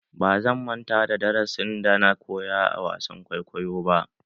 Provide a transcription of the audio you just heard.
Ba zan manta da darasin da na koyo a wasan kwaikwayo ba.